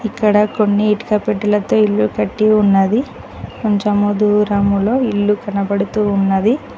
ఇక్కడ కొన్ని ఇటుక పెట్టిలతో ఇల్లు కట్టి ఉన్నది కొంచెం మధురంలో ఇల్లు కనబడుతూ ఉన్నది.